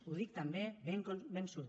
ho dic també ben convençut